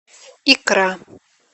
икра